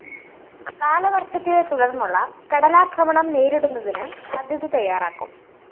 കാലവര്‍ഷത്തെ തുടര്‍ന്നുള്ള കടലാക്രമണം നേരിടുന്നതിന് പദ്ധതി തയ്യാറാക്കും